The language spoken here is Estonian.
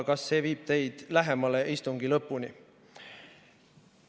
Kas see viib teid lähemale istungi lõpule?